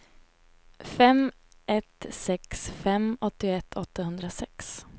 fem ett sex fem åttioett åttahundrasex